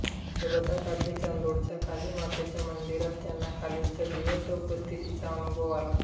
नर्मदाकाठी चांदोडच्या कालीमातेच्या मंदिरात त्यांना कालीच्या जिवंत उपस्थितीचा अनुभव आला